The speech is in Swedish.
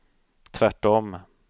tvärtom